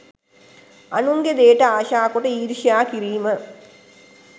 අනුන්ගේ දෙයට ආශා කොට ඊර්ෂ්‍යා කිරීම